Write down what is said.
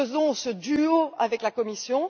Faisons donc ce duo avec la Commission.